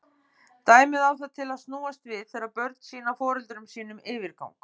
Dæmið á það til að snúast við þegar börn sýna foreldrum sínum yfirgang.